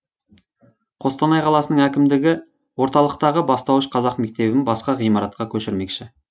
қостанай қаласының әкімдігі орталықтағы бастауыш қазақ мектебін басқа ғимаратқа көшірмекші